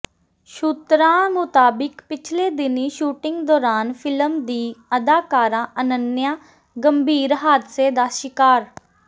ਸੂਤਰਾਂ ਮੁਤਾਬਿਕ ਪਿਛਲੇ ਦਿਨੀਂ ਸ਼ੂਟਿੰਗ ਦੌਰਾਨ ਫਿਲਮ ਦੀ ਅਦਾਕਾਰਾ ਅਨੰਨਿਆ ਗੰਭੀਰ ਹਾਦਸੇ ਦਾ ਸ਼ਿਕਾਰ